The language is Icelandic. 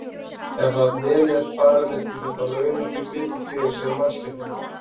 Og ef vel er farið með dýr þá launa þau betur fyrir sig en mannskepnurnar.